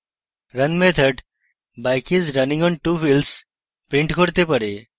run method bike is running on 2 wheels print করতে পারে